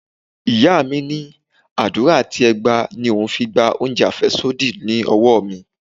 Ìyá mi ní àdúrà àti ẹgba ni òun fi gba oúnjẹ afesodi lọ́wọ́ mi.